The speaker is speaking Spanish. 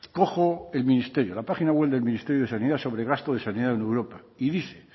cojo el ministerio la página web del ministerio de sanidad sobre gasto de sanidad en europa y dice